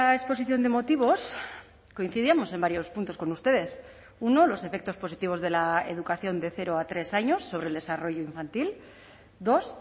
exposición de motivos coincidíamos en varios puntos con ustedes uno los efectos positivos de la educación de cero a tres años sobre el desarrollo infantil dos